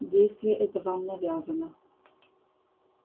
действие это вам навязано